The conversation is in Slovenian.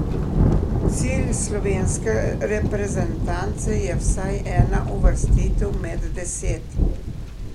Cilj slovenske reprezentance je vsaj ena uvrstitev med deset.